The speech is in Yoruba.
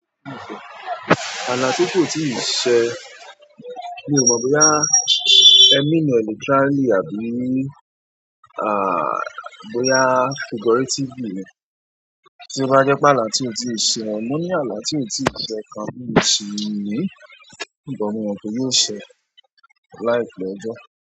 Àlà tí kò tíì ṣe mi ò mọ̀ bóyá e mean e literally àbí bóyá figuratively ni tí o bá jẹ́ pé àlà tí ó tíì ṣe. Mo ní àlà tí ó tí ì ṣe kan mi o si ni, ṣùgbọ́n mo mò pe yóò ṣe láìpẹ́ ọjọ́.